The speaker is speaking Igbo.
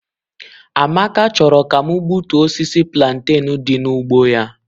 Amaka chọrọ ka m gbutuo osisi plantain dị n'ugbo ya.